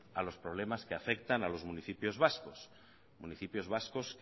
a los problemas que afectan a los municipios vascos municipios vascos